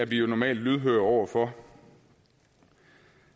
vi jo normalt lydhøre over for